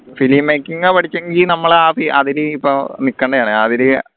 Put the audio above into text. film making ആ പഠിച്ചെങ്കി നമ്മളെ നിക്കണ്ടയാണ്